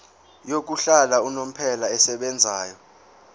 yokuhlala unomphela esebenzayo